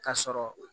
K'a sɔrɔ